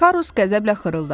Karus qəzəblə xırıldadı.